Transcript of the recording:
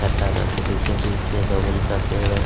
चट्टानों के बीचो-बीच से बबुल का पेड़ ओड़--